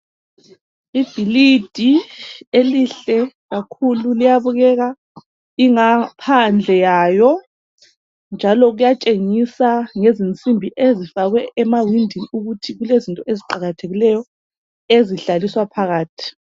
Ibhilidi elihle kakhulu! Liyabukeka ingaphandle yalo, njalo kuyatshengisa ngensimbi ezifakwe emawindini, ukuthi kulezinto eziqakathekileyo. Ezihlaliswa phakathi.